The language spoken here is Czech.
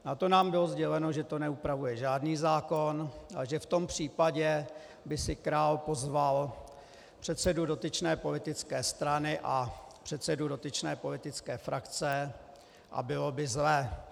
Na to nám bylo sděleno, že to neupravuje žádný zákon a že v tom případě by si král pozval předsedu dotyčné politické strany a předsedu dotyčné politické frakce a bylo by zle.